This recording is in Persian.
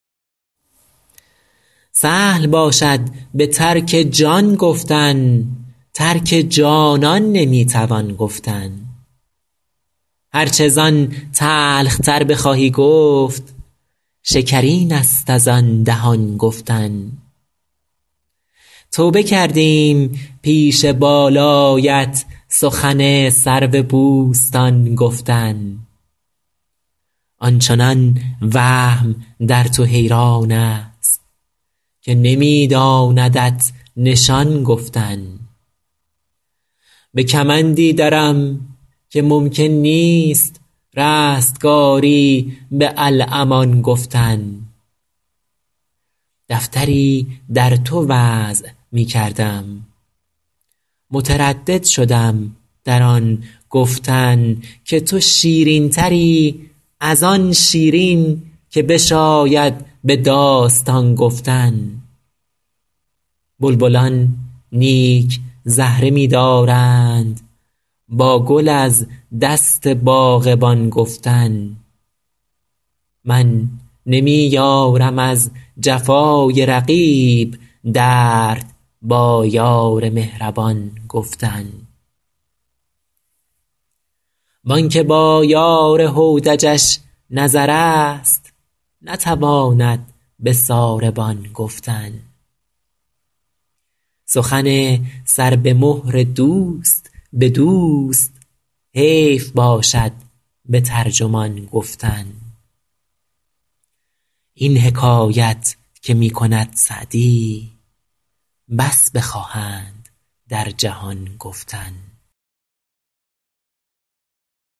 سهل باشد به ترک جان گفتن ترک جانان نمی توان گفتن هر چه زان تلخ تر بخواهی گفت شکرین است از آن دهان گفتن توبه کردیم پیش بالایت سخن سرو بوستان گفتن آن چنان وهم در تو حیران است که نمی داندت نشان گفتن به کمندی درم که ممکن نیست رستگاری به الامان گفتن دفتری در تو وضع می کردم متردد شدم در آن گفتن که تو شیرین تری از آن شیرین که بشاید به داستان گفتن بلبلان نیک زهره می دارند با گل از دست باغبان گفتن من نمی یارم از جفای رقیب درد با یار مهربان گفتن وان که با یار هودجش نظر است نتواند به ساربان گفتن سخن سر به مهر دوست به دوست حیف باشد به ترجمان گفتن این حکایت که می کند سعدی بس بخواهند در جهان گفتن